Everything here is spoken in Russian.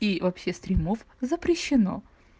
и вообще стримов запрещено